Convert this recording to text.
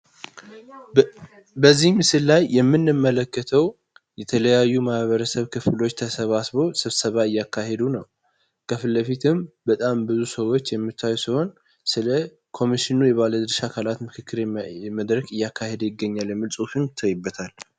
በዚህ ምሰስል ላይ የምንመለከተዉ የተለያዩ የማህበረሰብ ክፍሎች ተሰባስበው ስብሰባ እያካሄዱ ነዉ። ከፊትለፊትም በጣም ብዙዎች ሰዎችን የሚታዩ ሲሆን ስለኮሚሽኑ የባለድርሻ አካላት ምክክር እያካሄዱ ይገኛል የሚል ፁሁፍም ይታይበታል።